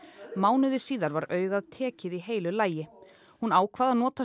mánuði síðar var augað tekið í heilu lagi hún ákvað að nota